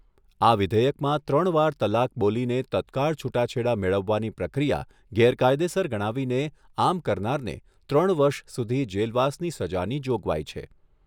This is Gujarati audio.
આ વિધેયકમાં ત્રણ વાર તલાક બોલીને તત્કાળ છુટાછેડા મેળવવાની પ્રક્રિયા ગેરકાયદેસર ગણાવીને આમ કરનારને ત્રણ વર્ષ સુધી જેલવાસની સજાની જોગવાઇ છે.